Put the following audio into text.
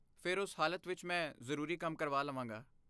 ਫਿਰ ਉਸ ਹਾਲਤ ਵਿੱਚ ਮੈਂ ਜ਼ਰੂਰੀ ਕੰਮ ਕਰਵਾ ਲਵਾਂਗਾ।